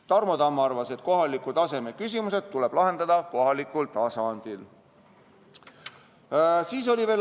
Tarmo Tamm arvas, et kohaliku taseme küsimused tuleb lahendada kohalikul tasandil.